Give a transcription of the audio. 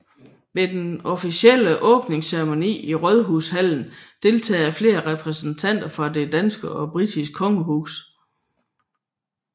Ved den officielle åbningsceremoni i Rådhushallen deltager flere repræsentanter fra det danske og britiske kongehus